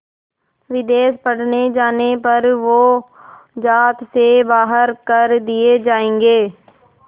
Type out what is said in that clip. विदेश पढ़ने जाने पर वो ज़ात से बाहर कर दिए जाएंगे